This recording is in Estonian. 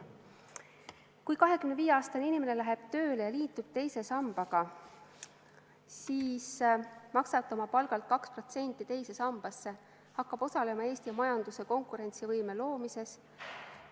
Kui 25-aastane inimene läheb tööle ja liitub teise sambaga, siis maksab ta oma palgalt 2% teise sambasse, hakkab osalema Eesti majanduse konkurentsivõime loomises.